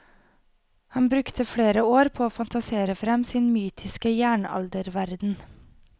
Han brukte flere år på å fantasere frem sin mytiske jernalderverden.